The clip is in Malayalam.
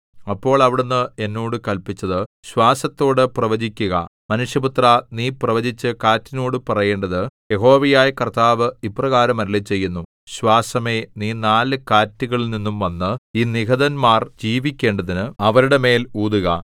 അപ്പോൾ അവിടുന്ന് എന്നോട് കല്പിച്ചത് ശ്വാസത്തോട് പ്രവചിക്കുക മനുഷ്യപുത്രാ നീ പ്രവചിച്ച് കാറ്റിനോടു പറയേണ്ടത് യഹോവയായ കർത്താവ് ഇപ്രകാരം അരുളിച്ചെയ്യുന്നു ശ്വാസമേ നീ നാല് കാറ്റുകളിൽനിന്നും വന്ന് ഈ നിഹതന്മാർ ജീവിക്കേണ്ടതിന് അവരുടെ മേൽ ഊതുക